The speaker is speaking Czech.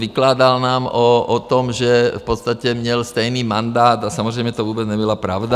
Vykládal nám o tom, že v podstatě měl stejný mandát, a samozřejmě to vůbec nebyla pravda.